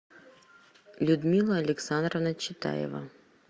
людмила александровна читаева